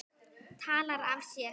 Talar af sér.